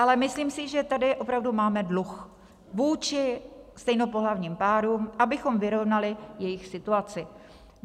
Ale myslím si, že tady opravdu máme dluh vůči stejnopohlavním párům, abychom vyrovnali jejich situaci.